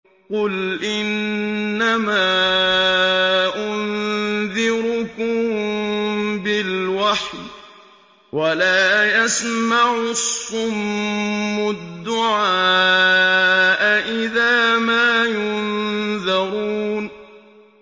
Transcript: قُلْ إِنَّمَا أُنذِرُكُم بِالْوَحْيِ ۚ وَلَا يَسْمَعُ الصُّمُّ الدُّعَاءَ إِذَا مَا يُنذَرُونَ